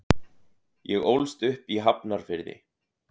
Ég ólst upp í Hafnarfirði.